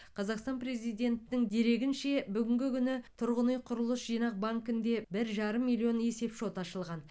қазақстан президентінің дерегінше бүгінгі күні тұрғын үй құрылыс жинақ банкінде бір жарым миллион есепшот ашылған